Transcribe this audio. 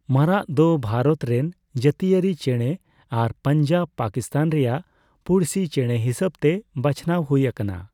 ᱢᱟᱨᱟᱜ ᱫᱚ ᱵᱷᱟᱨᱚᱛ ᱨᱮᱱ ᱡᱟᱹᱛᱤᱭᱟᱹᱨᱤ ᱪᱮᱸᱬᱮ ᱟᱨ ᱯᱟᱧᱡᱟᱵ (ᱯᱟᱠᱤᱥᱛᱟᱱ) ᱨᱟᱭᱟᱜ ᱯᱩᱲᱥᱤ ᱪᱮᱸᱬᱮ ᱦᱤᱥᱟᱹᱵᱛᱮ ᱵᱟᱪᱷᱱᱟᱣ ᱦᱩᱭ ᱟᱠᱟᱱᱟ ᱾